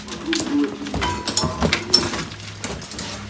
вокруг было темно как в адской бездне